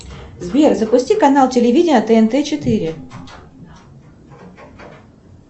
сбер запусти канал телевидения тнт четыре